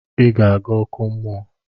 I ga aga oku mmuo!